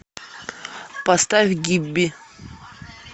поставь гибби